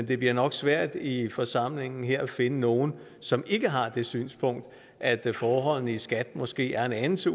det bliver nok svært i forsamlingen her at finde nogle som ikke har det synspunkt at forholdene i skat måske er en anelse